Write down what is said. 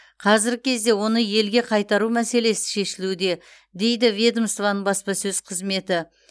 қазіргі кезде оны елге қайтару мәселесі шешілуде дейді ведомствоның баспасөз қызметі